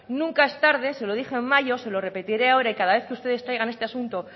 nunca es tarde se lo dije en mayo se lo repetiré ahora y cada vez que ustedes traigan este asunto